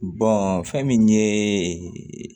fɛn min ye